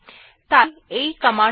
তাই এই কমান্ড টি টেস্ট1 থেকে পড়ে